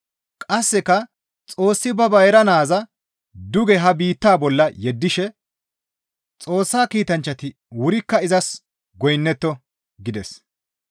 Qasseka Xoossi ba bayra Naaza duge ha biittaa bolla yeddishe, «Xoossa kiitanchchati wurikka izas goynnetto» gides.